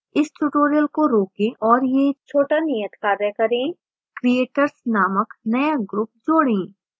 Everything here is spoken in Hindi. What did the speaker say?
इस tutorial को रोकें और यह छोटा नियतकार्य करें creators नामक नया group जोडें